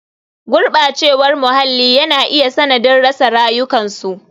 Gurɓacewar muhalli yana iya sanadin rasa rayukansu.